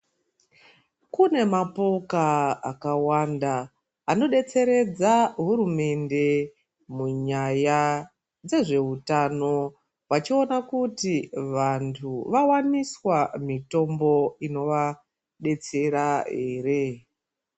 Kune mapoka akawanda anodetseredza hurumende munyaya dzezvehutano wachiona kuti vantu vawaniswa mitombo ino vadetsera here.